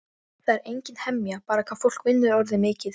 Það er engin hemja bara hvað fólk vinnur orðið mikið.